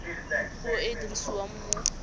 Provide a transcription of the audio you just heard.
puo e e dirisiwang mo